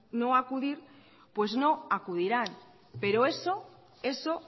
no acudir pues no acudirán pero eso